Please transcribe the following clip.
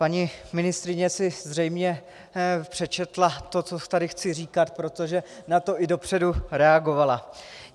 Paní ministryně si zřejmě přečetla to, co tady chci říkat, protože na to i dopředu reagovala.